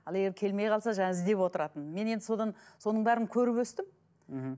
ал егер келмей қалса жаңағы іздеп отыратын мен енді содан соның бәрін көріп өстім мхм